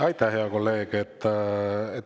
Aitäh, hea kolleeg!